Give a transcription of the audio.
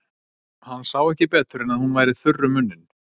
Hann sá ekki betur en að hún væri þurr um munninn.